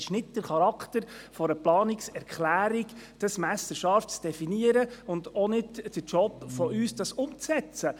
Es ist nicht der Charakter einer Planungserklärung, dies messerscharf zu definieren, und es ist auch nicht unser Job, dies umzusetzen.